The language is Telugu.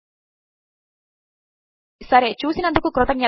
నేను స్వాతి స్పోకెన్ ట్యుటోరియల్ ప్రాజెక్ట్ కొరకు డబ్బింగ్ చెపుతున్నాను